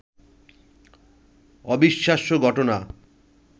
অবিশ্বাস্য ঘটনা